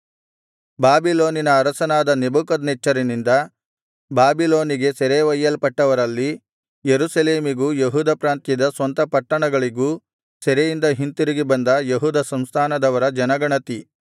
ಬಾಬಿಲೋನಿನ ಅರಸನಾದ ನೆಬೂಕದ್ನೆಚ್ಚರನಿಂದ ಬಾಬಿಲೋನಿಗೆ ಸೆರೆ ಒಯ್ಯಲ್ಪಟ್ಟವರಲ್ಲಿ ಯೆರೂಸಲೇಮಿಗೂ ಯೆಹೂದ ಪ್ರಾಂತ್ಯದ ಸ್ವಂತ ಪಟ್ಟಣಗಳಿಗೂ ಸೆರೆಯಿಂದ ಹಿಂತಿರುಗಿ ಬಂದ ಯೆಹೂದ ಸಂಸ್ಥಾನದವರ ಜನಗಣತಿ